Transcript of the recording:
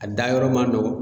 A da yɔrɔ man nɔgɔn.